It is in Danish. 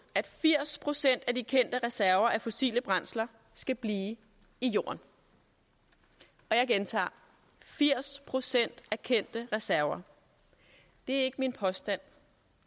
at firs procent af de kendte reserver af fossile brændsler skal blive i jorden og jeg gentager firs procent af kendte reserver det